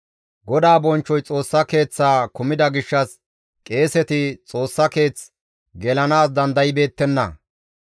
GODAA bonchchoy Xoossa Keeththaa kumida gishshas qeeseti Xoossa Keeth gelanaas dandaybeettenna.